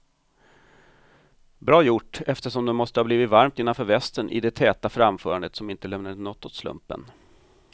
Bra gjort, eftersom det måste ha blivit varmt innanför västen i det täta framförandet som inte lämnade något åt slumpen.